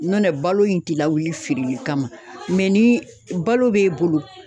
Nɔntɛ balo in ti lawuli fereli kama ni balo b'e bolo.